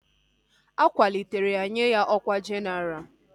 A kwalitere ya nye ya ọkwá jenaral